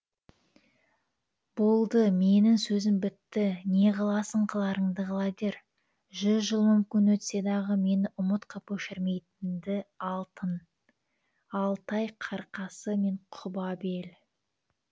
болды менің сөзім бітті не қыласың қыларыңды қыла бер жүз жыл мүмкін өтсе дағы мені ұмыт қып өшірмейді алтын алтай қырқасы мен құба бел